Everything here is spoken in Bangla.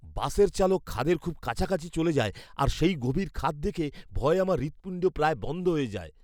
বাসের চালক খাদের খুব কাছাকাছি চলে যায় আর সেই গভীর খাদ দেখে ভয়ে আমার হৃৎপিণ্ড প্রায় বন্ধ হয়ে যায়!